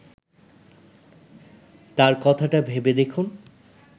তার কথাটা ভেবে দেখুন